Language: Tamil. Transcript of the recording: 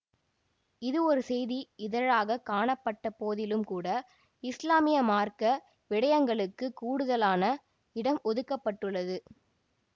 இதுவொரு செய்தி இதழாகக் காணப்பட்டபோதிலும்கூட இசுலாமிய மார்க்க விடயங்களுக்கு கூடுதலான இடம் ஒதுக்க பட்டுள்ளது